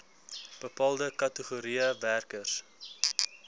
bepaalde kategorieë werkers